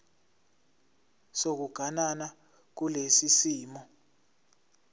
sokuganana kulesi simo